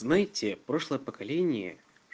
знаете прошлое поколение